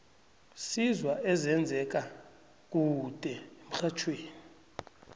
sizwa ezenze ka kude emxhajhewi